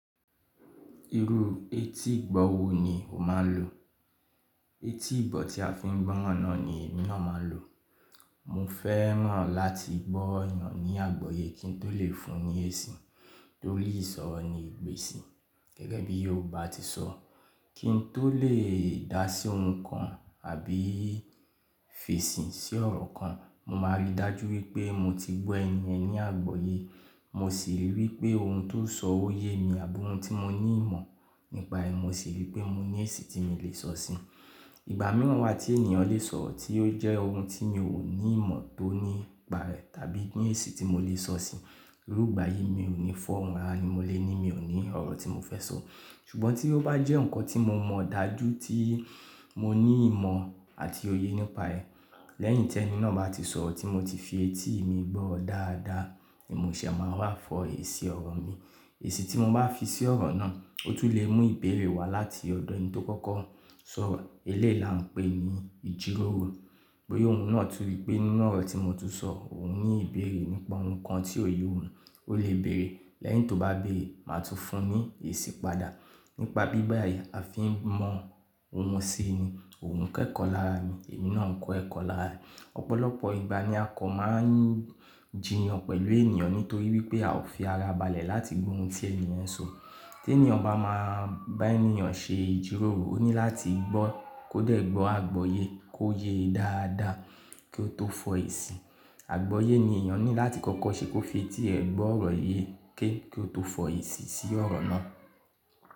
Irú etí ìgbọ̀ wo ni o máa ń lò? Etí ìgbọ̀ tí a fi ń gbọ́ran nà ni èmi náà máa ń lò. Mo fẹ́ràn láti gbọ́ ènìyàn ní àgbọ́yé kí n tó lè fún un ní èsì torí ìsọ̀rọ̀ ni ìgbésì. Gẹ́gẹ́ bí ó bá ti sọ, kí n tó lè dá sí ohun kan àbí fèsì sí ọ̀rọ̀ kan, mo máa rí i dájú wípé mo ti gbọ́ ènìyàn ní àgbọ́yé, mo sì rí i wípé ohun tó sọ ó yé mi àbí ohun tí mo ní ìmọ̀ nípa ẹ̀, mo sì rí i pé mo ní èsì tí mo lè sọ sí. Ìgbà mìíràn wà tí ènìyàn lè sọ ọ̀rọ̀ tí ó jẹ́ ohun tí mi ò ní ìmọ̀ tó nípa rẹ̀ tàbí ní èsì tí mo lè sọ sí. Irú ìgbà yìí mi ò ní fọ́n hàn ni mo le ní, mi ò ní ọ̀rọ̀ tí mo fẹ́ sọ. Ṣùgbọ́n tí ó bá jẹ́ ǹkan tí mo mọ̀ dájú tí mo ní ìmọ̀ àti òye nípa ẹ̀, lẹ́yìn tí ẹni náà bá ti sọ ọ̀rọ̀ tí mo ti fi etí mi gbọ́ dáadáa, èmi ò ṣe é máa wá fọ èsì ọ̀rọ̀ mi. Èsì tí mo bá fi sí ọ̀rọ̀ náà, ó tún lè mú ìbéèrè wá láti ọ̀dọ̀ ẹni tó kọ́kọ́ sọ ọ̀rọ̀. Eléèla ń pè ní ìjíròrò. Bóyá òun náà tú wípé nínú ọ̀rọ̀ tí mo ti sọ òun ní ìbéèrè nípa ohun kan tí ò ye òun, ó lè béèrè. Lẹ́yìn tó bá béèrè, màá tún fún un ní èsì padà. Nípa bí báyìí a fi ń mọ ohun ṣe ni, òun ń kọ ẹ̀kọ́ lára mi, èmi náà ń kọ ẹ̀kọ́ lára rẹ̀. Ọ̀pọ̀lọpọ̀ ìgbà ni a kọ̀ máa ń jìyàn pẹ̀lú ènìyàn nítorí wípé a ò fi ara balẹ̀ láti gbó ohun tí ènìyàn ń sọ. Tí ènìyàn bá máa bá ènìyàn ṣe ìjíròrò, ó ní láti gbọ́, kó dẹ̀ gbọ́ àgbọ́yé kó yé e dáadáa kí ó tó fọ èsì. Àgbọ́yé ni èèyàn ní láti kọ́kọ́ ṣe kó fi etí rẹ̀ gbọ́ ọ̀rọ̀ yé kí ó tó fọ èsì sí ọ̀rọ̀ náà.